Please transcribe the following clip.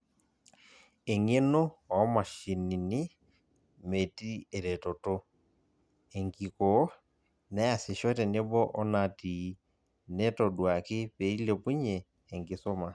Eng'eno oomashinini meeti eretoto, enkikoo, neasisho teneboo onatii, netoduaki peilepunye enkisuma.